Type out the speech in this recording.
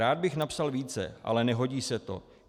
Rád bych napsal více, ale nehodí se to.